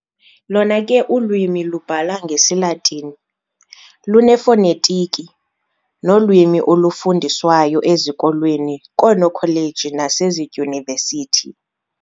Lona ke ulwimi lubhala ngesiLatini, lunefonetiki nolwimi olufundiswayo ezikolweni, koonokholeji nasezidyunivesithi.